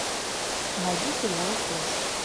найди сериал флеш